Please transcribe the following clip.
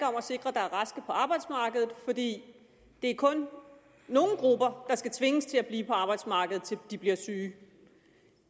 om at sikre at der er raske på arbejdsmarkedet for det er kun nogle grupper der skal tvinges til at blive på arbejdsmarkedet til de bliver syge